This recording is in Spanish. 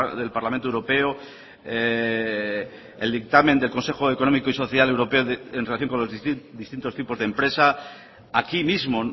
del parlamento europeo el dictamen del consejo económico y social europeo en relación con los distintos tipos de empresa aquí mismo